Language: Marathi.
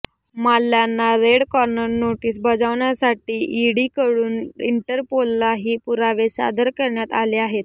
माल्ल्यांना रेड कॉर्नर नोटीस बजावण्यासाठी ईडीकडून इंटरपोललाही पुरावे सादर करण्यात आले आहेत